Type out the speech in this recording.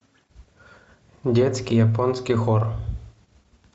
детский японский хор